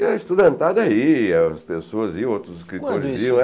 E a estudantada ia, as pessoas iam, outros escritores iam.